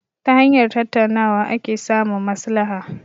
Ta hanyar tattaunawa ake samun maslaha.